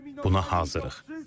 Buna hazırıq.